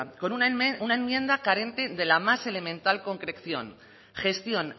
con una enmienda carente de la más elemental concreción gestión